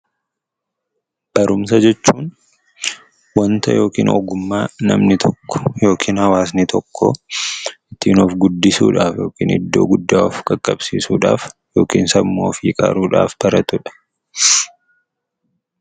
Barumsa jechuun wanta yookiin ogummaa namni tokko yookiin hawwasni tokko ittiin of guddisuudhaaf, iddoo guddaa of qaqqabsiisuudhaaf, akkasumas sammuu ofii qaruudhaaf baratudha.